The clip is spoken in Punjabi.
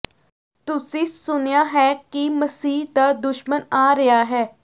ਤੁਸੀਂ ਸੁਣਿਆ ਹੈ ਕਿ ਮਸੀਹ ਦਾ ਦੁਸ਼ਮਣ ਆ ਰਿਹਾ ਹੈ